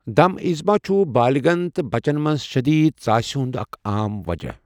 دَم ایذما چُھ بالغن تہٕ بچن منٛز شدید ژاسہِ ہُنٛد اکھ عام وجہ